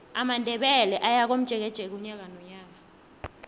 amandebele ayakomjekeje unyaka nonyaka